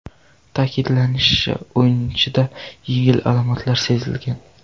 Ta’kidlanishicha, o‘yinchida yengil alomatlar sezilgan.